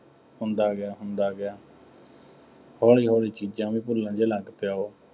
ਹੁੰਦਾ ਗਿਆ, ਹੁੰਦਾ ਗਿਆ। ਹੌਲੀ ਹੌਲੀ ਚੀਜ਼ਾਂ ਵੀ ਭੁੱਲਣ ਜਿਹੇ ਲੱਗ ਪਿਆ ਉਹ।